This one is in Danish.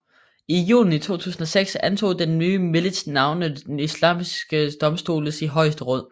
I juni 2006 antog den nye milits navnet Islamiske domstoles højeste råd